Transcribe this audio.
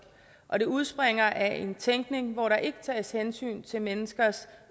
og det udspringer af en tænkning hvor der ikke tages hensyn til menneskers